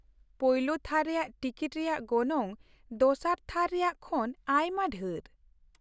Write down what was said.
ᱯᱳᱭᱞᱳ ᱛᱷᱟᱨ ᱨᱮᱭᱟᱜ ᱴᱤᱠᱤᱴ ᱨᱮᱭᱟᱜ ᱜᱚᱱᱚᱝ ᱫᱚᱥᱟᱨ ᱛᱷᱟᱨ ᱨᱮᱭᱟᱜ ᱠᱷᱚᱱ ᱟᱭᱢᱟ ᱰᱷᱮᱨ ᱾